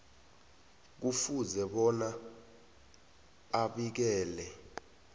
kufuze bona abikele